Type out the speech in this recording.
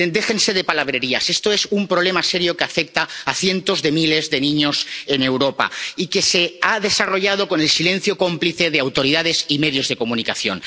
Miren, déjense de palabrerías, esto es un problema serio que afecta a cientos de miles de niños en Europa y que se ha desarrollado con el silencio cómplice de autoridades y medios de comunicación.